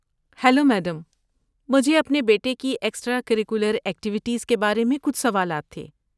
Hello, madam, مجھے اپنے بیٹے کی ایکسٹرا کریکولر ایکٹیوٹیز کے بارے میں کچھ سوالات تھے۔